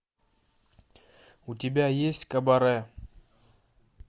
у тебя есть кабаре